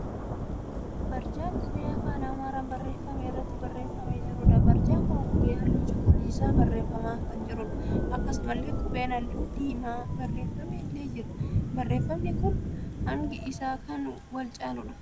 Barjaa qubee afaan Amaaraan barreeffamee irratti barreeffamee jiruudha. Barjaan kun qubee halluu cuquliisaan barreeffamee kan jiruudha. Akkasumallee qubeen halluu diimaan barreeffame illee jira. Barreeffamni kun hangi isaa kan wal caaluudha.